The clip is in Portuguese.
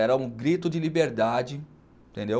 Era um grito de liberdade, entendeu?